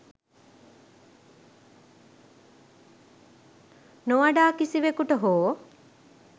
නොවඩා කිසිවෙකුට හෝ